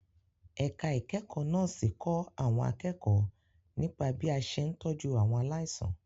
Ẹ̀ka ìkẹ́kọ̀ọ́ Nọ́ọ̀sì kọ́ àwọn akẹ́kọ̀ọ́ nípa bí a ṣe ń tọ́jú àwọn aláìsàn.